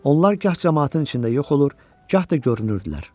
Onlar gah camaatın içində yox olur, gah da görünürdülər.